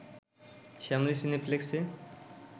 Shyamoli সিনেপ্লেক্সে